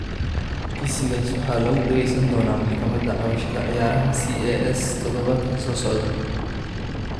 Kiisigaas waxaa lagu dhageysan doonaa maxkamadda cabashada ciyaaraha (CAS) toddobaadka soo socda.